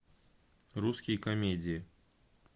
русские комедии